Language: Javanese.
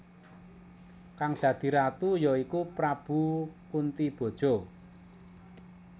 Kang dadi Ratu ya iku Prabu Kuntiboja